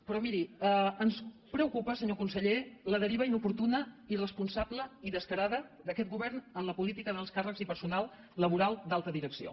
però miri ens preocupa senyor conseller la deriva in·oportuna irresponsable i descarada d’aquest govern en la política d’alts càrrecs i personal laboral d’alta direcció